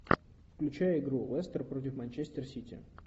включай игру лестер против манчестер сити